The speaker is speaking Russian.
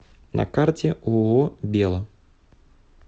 на карте ооо бело